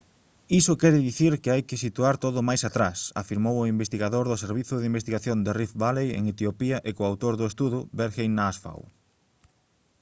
iso quere dicir que hai que situar todo máis atrás» afirmou o investigador do servizo de investigación de rift valley en etiopía e coautor do estudo berhane asfaw